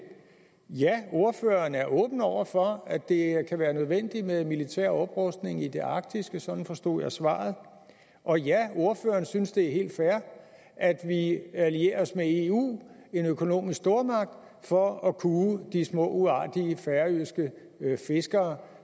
ja ordføreren er åben over for at det kan være nødvendigt med militær oprustning i det arktiske sådan forstod jeg svaret og ja ordføreren synes det er helt fair at vi allierer os med eu en økonomisk stormagt for at kue de små uartige færøske fiskere